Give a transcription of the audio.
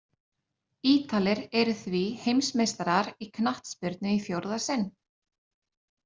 Ítalir eru því heimsmeistarar í knattspyrnu í fjórða sinn!